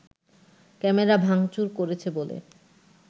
camera ভাঙচুর করেছে বলে